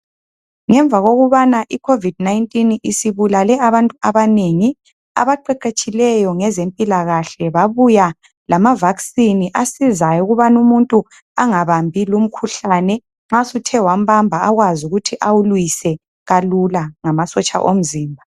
Ngemva kokubana iCovid-19 isibulale abantu abanengi, abaqeqetshileyo ngezempilakahle babuya lama"vaccine" asizayo ukubana umuntu angabambi lumkhuhlane, nxa suthe wambamba akwazi ukuthi awulwise ngamasotsha omzimba.